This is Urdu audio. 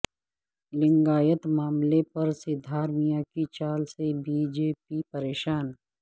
لنگایت معاملہ پر سدھارمیا کی چال سے بی جے پی پریشان